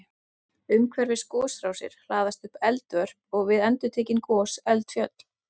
Umhverfis gosrásir hlaðast upp eldvörp og við endurtekin gos eldfjöll.